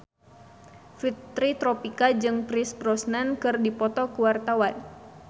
Fitri Tropika jeung Pierce Brosnan keur dipoto ku wartawan